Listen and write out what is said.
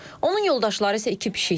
Onun yoldaşları isə iki pişikdir.